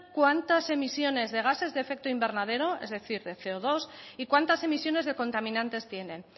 cuántas emisiones gases de efecto invernadero es decir de ce o dos y cuántas emisiones de contaminantes tienen